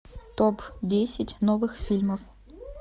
топ десять новых фильмов